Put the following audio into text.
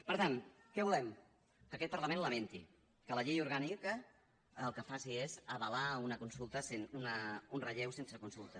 per tant què volem que aquest parlament lamenti que la llei orgànica el que faci és avalar un relleu sense consulta